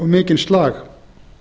mikinn slag